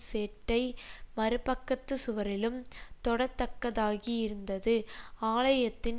செட்டை மறுபக்கத்துச் சுவரிலும் தொடத்தக்கதாகியிருந்தது ஆலயத்தின்